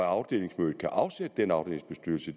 afdelingsmødet kan afsætte den afdelingsbestyrelse